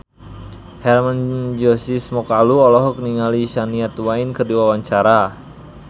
Hermann Josis Mokalu olohok ningali Shania Twain keur diwawancara